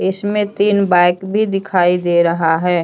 इसमें तीन बाइक भी दिखाई दे रहा है।